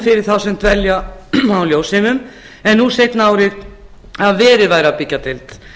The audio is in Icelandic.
fyrir þá sem dvelja á ljósheimum en nú seinni árin að verið væri að byggja deild